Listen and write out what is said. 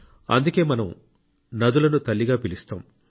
అందుకే మనం నదులను తల్లిగా పిలుస్తాం